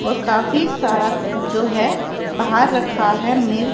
और काफी सारा जो है बाहर रखा है मि--